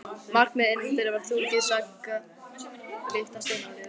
Myrkrið innandyra var þrungið sagga og lykt af steinolíu.